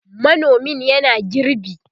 manomin yana girbi